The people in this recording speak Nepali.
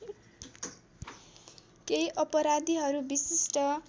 केही अपराधीहरू विशिष्ट